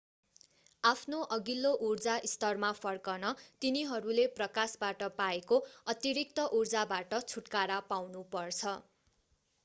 आफ्नो अघिल्लो ऊर्जा स्तरमा फर्कन तिनीहरूले प्रकाशबाट पाएको अतिरिक्त ऊर्जाबाट छुटकारा पाउनु पर्छ